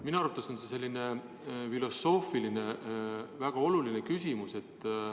Minu arvates on see selline väga oluline filosoofiline küsimus.